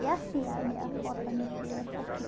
e É assim, a minha a foto da minha filha é essa aqui.